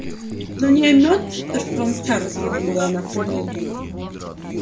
но не о мёртвом чарльзе думала она в ту минуту